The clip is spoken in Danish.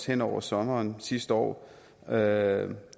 henover sommeren sidste år havde